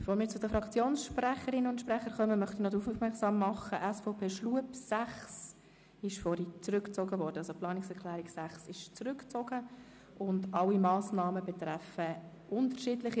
Bevor wir zu den Fraktionssprecherinnen und sprechern kommen, möchte ich darauf aufmerksam machen, dass die Planungserklärung 6 von Grossrat Schlup zurückgezogen wurde.